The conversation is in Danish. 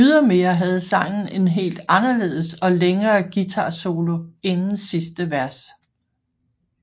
Ydermere havde sangen en helt anderledes og længere guitarsolo inden sidste vers